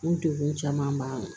N degun caman b'a la